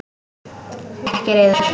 Ekki reiður.